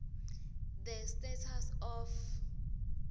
the status of